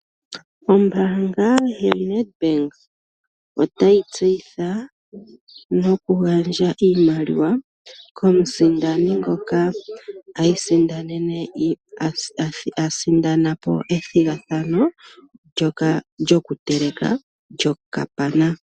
Ombaanga yaNedbank otayi tseyitha nokugandja iimaliwa komusindani ngoka a sindana po ethigathano lyokuteleka okapana.